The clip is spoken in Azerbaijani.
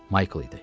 Mayk idi.